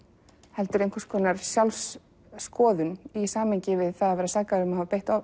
heldur einhvers konar sjálfsskoðun í samhengi við að vera sakaður um að hafa beitt